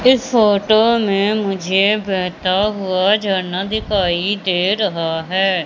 इस फोटो में मुझे बहता हुआ झरना दिखाई दे रहा है।